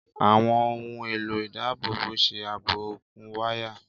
Àwọn ohùn èlò ìdábòbò ṣe ààbò òkun wáyà.